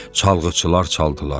Çalğıçılar çaldılar.